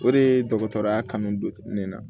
O de ye dɔgɔtɔrɔya kanu don ne na